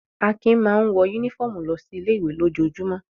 Akin máa ń wọ únífọ́ọ́mù lọ sí ilé-ìwé lójoojúmọ́.